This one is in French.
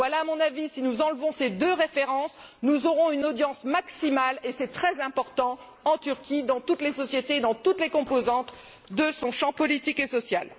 Voilà mon avis si nous enlevons ces deux références, nous aurons une audience maximale et c'est très important en Turquie, dans toute la société, dans toutes les composantes de son champ politique et social.